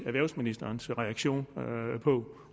erhvervsministerens reaktion